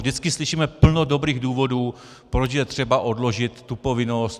Vždycky slyšíme plno dobrých důvodů, proč je třeba odložit tu povinnost.